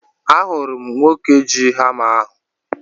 Ahụrụ m nwoke ji hama ahu